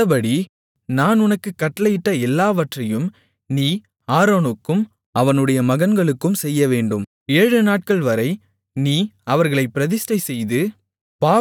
இந்தபடி நான் உனக்குக் கட்டளையிட்ட எல்லாவற்றையும் நீ ஆரோனுக்கும் அவனுடைய மகன்களுக்கும் செய்யவேண்டும் ஏழுநாட்கள்வரை நீ அவர்களைப் பிரதிஷ்டைசெய்து